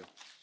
Om